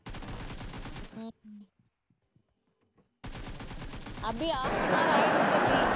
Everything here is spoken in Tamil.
அபி, half an hour ஆயிடுச்சு அபி